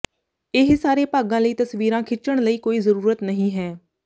ਇਹ ਸਾਰੇ ਭਾਗਾਂ ਲਈ ਤਸਵੀਰਾਂ ਖਿੱਚਣ ਲਈ ਕੋਈ ਜ਼ਰੂਰਤ ਨਹੀਂ ਹੈ